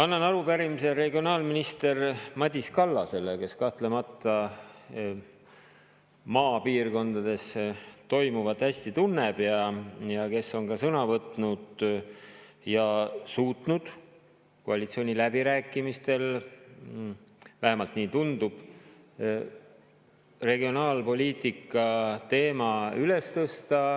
Annan üle arupärimise regionaalminister Madis Kallasele, kes kahtlemata maapiirkondades toimuvat hästi tunneb ja kes on ka sõna võtnud ja suutnud koalitsiooniläbirääkimistel – vähemalt nii tundub – regionaalpoliitika teema üles tõsta.